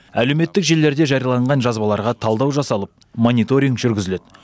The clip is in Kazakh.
әлеуметтік желілерде жарияланған жазбаларға талдау жасалып мониторинг жүргізіледі